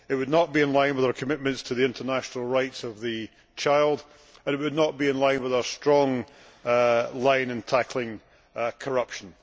It would not be in line with our commitments to the international rights of the child, and it would not be in line with our strong line on tackling corruption.